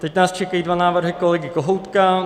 Teď nás čekají dva návrhy kolegy Kohoutka.